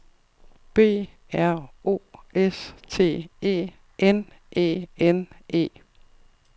B R O S T E N E N E